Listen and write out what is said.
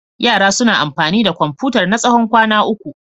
Yaran suna amfani da Komfutar na tsawon kwana uku.